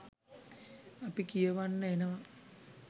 අපි කියවන්න එනවා